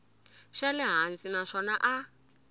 xa le hansi naswona a